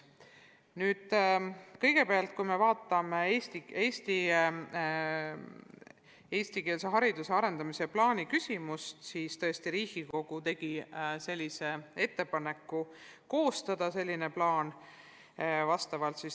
Kõigepealt, kui jutt on Eesti eestikeelse hariduse arendamise plaanist, siis tõesti, Riigikogu tegi ettepaneku selline plaan koostada.